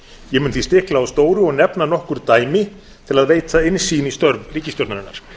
ég mun því stikla á stóru og nefna nokkur dæmi til að veita innsýn í störf ríkisstjórnarinnar